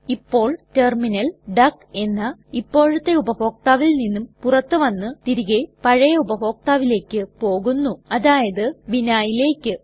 ഇപ്പോൾ ടെർമിനൽ ഡക്ക് എന്ന ഇപ്പോഴത്തെ ഉപഭോക്താവിൽ നിന്നും പുറത്തു വന്ന് തിരികെ പഴയ ഉപഭോക്താവിലേക്ക് പോകുന്നു അതായത് vinhaiലേക്ക്